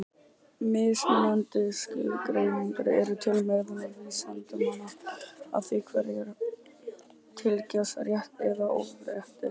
Mismunandi skilgreiningar eru til meðal vísindamanna á því hverjir teljist rétt- eða örvhentir.